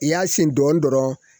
I y'a sen dɔɔnin dɔrɔn